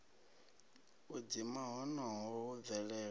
u dzima honoho hu bvelela